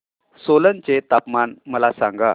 सोलन चे तापमान मला सांगा